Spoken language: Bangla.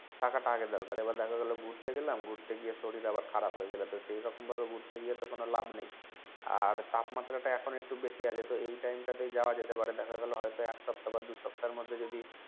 থাকাটা আগে দরকার এবার দেখা গেলো ঘুরতে গেলাম ঘুরতে গিয়ে শরীর আবার খারাব হয়ে গেলো তো সেই রকম ভাবে ঘুরতে গিয়ে তো কোন লাভ নেই আর তাপমাত্রাটা এখন একটু বেশি আছে তো এই টাইম তা তেই যাওয়া যেতে পারে দেখা গেলো হয়তো এক সপ্তাহ বা দুই সপ্তাহের মধ্যে যদি